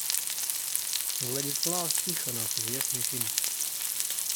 владислав тихонов известный фильм